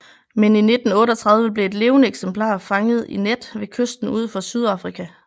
Men i 1938 blev et levende eksemplar fanget i net ved kysten ud for Sydafrika